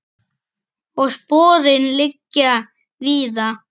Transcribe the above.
Og sporin liggja víða.